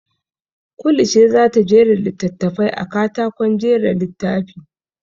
Kulu ce za ta jera littattafan a katakon jera littafi.